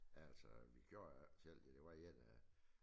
Altså vi kørte jo ikke selv det var der én af